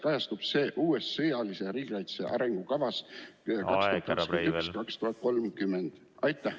Kuidas kajastub see uues sõjalise riigikaitse arengukavas 2021–2030?